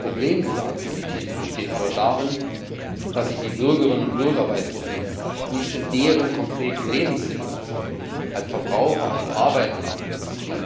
Das Problem dieser Aktivitäten besteht aber darin, dass sie die Bürgerinnen und Bürger Weißrusslands nicht in deren konkreten Lebenssituationen als Verbraucher und Arbeitnehmer abholen.